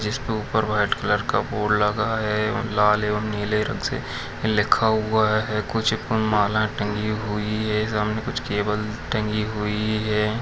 जिसके ऊपर white colour का बोर्ड लगा है और लाल एवं नीले रंग से लिखा हुआ है कुछ माला टंगी है सामने कुछ केवल टंगी हुई है।